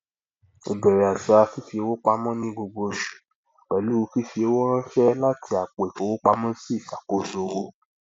ìbẹrẹ àṣà fifi owó pamọ ní gbogbo oṣù pẹlú fífi owó ránṣẹ láti àpò ìfowópamọsí ìṣàkóso owó